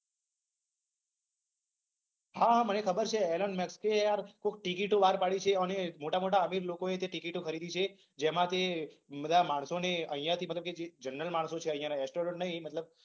હા હા મને ખબર છે. એલન મસ્કે યાર ખુબ ટીકીટો બહાર પાડી છે. અને મોટા મોટા અમીર લોકોએ તે ટીકીટો ખરીદી છે. જેમાથી બધા માણસોને અહિંયાથી મતલબ કે જે જનરલ માણસો છે અહિંયા એસ્ટ્રોનટ નહી મતલબ